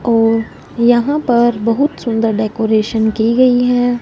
औ यहां पर बहुत सुंदर डेकोरेशन की गई है।